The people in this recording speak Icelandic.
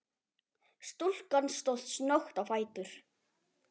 Stúlkan stóð snöggt á fætur.